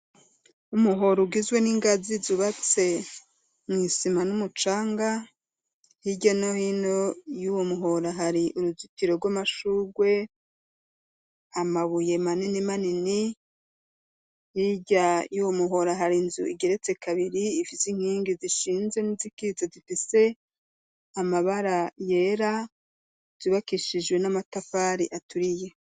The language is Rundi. umuhoro ugizwe n'ingazi zubatse mu isima n'umucanga hirya no hino yuwo muhora hari uruzitiro rw'amashurwe, amabuye manini manini, hirya yuwo muhora hari inzu igeretse kabiri ifise inkingi zishinze n'izikiza zifise amabara yera, zubakishijwe n'amatafari aturiye.